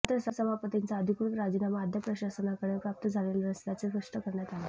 मात्र सभापतींचा अधिकृत राजीनामा अद्याप प्रशासनाकडे प्राप्त झालेला नसल्याचे स्पष्ट करण्यात आले